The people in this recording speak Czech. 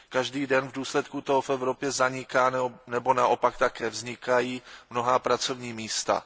Každý den v důsledku toho v Evropě zanikají nebo naopak také vznikají mnohá pracovní místa.